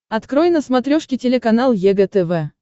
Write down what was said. открой на смотрешке телеканал егэ тв